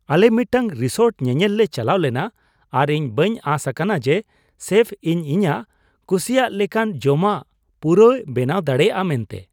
ᱟᱞᱮ ᱢᱤᱫᱴᱟᱝ ᱨᱤᱥᱳᱨᱴ ᱧᱮᱧᱮᱞ ᱞᱮ ᱪᱟᱞᱟᱣ ᱞᱮᱱᱟ ᱟᱨ ᱤᱧ ᱵᱟᱹᱧ ᱟᱥ ᱟᱠᱟᱱᱟ ᱡᱮ ᱥᱮᱯᱷ ᱤᱧ ᱤᱧᱟᱹᱜ ᱠᱩᱥᱤᱭᱟᱜ ᱞᱮᱠᱟᱱ ᱡᱚᱢᱟᱜ ᱯᱩᱨᱟᱹᱭ ᱵᱮᱱᱟᱣ ᱫᱟᱲᱮᱭᱟᱜᱼᱟ ᱢᱮᱱᱟᱛᱮ ᱾